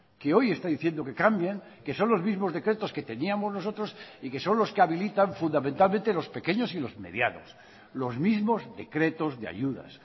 que hoy está diciendo que cambien que son los mismos decretos que teníamos nosotros y que son los que habilitan fundamentalmente los pequeños y los medianos los mismos decretos de ayudas